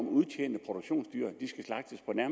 at udtjente produktionsdyr i